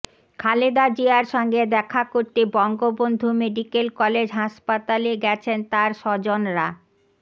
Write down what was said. খালেদা জিয়ার সঙ্গে দেখা করতে বঙ্গবন্ধু মেডিকেল কলেজ হাসপাতালে গেছেন তাঁর স্বজনরা